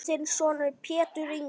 Þinn sonur Pétur Ingi.